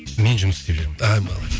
мен жұмыс істеп жүрмін а молодец